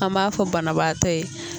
An m'a fɔ banabaatɔ ye.